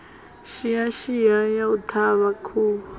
shiashia ya u ṱhavha khuhu